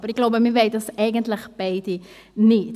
Ich glaube, dies wollen wir eigentlich beide nicht.